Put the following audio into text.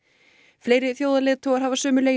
fleiri þjóðarleiðtogar hafa sömuleiðis